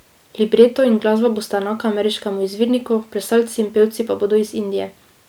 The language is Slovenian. Libreto in glasba bosta enaka ameriškemu izvirniku, plesalci in pevci pa bodo iz Indije.